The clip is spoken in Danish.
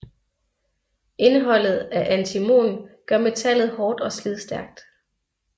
Indholdet af antimon gør metallet hårdt og slidstærkt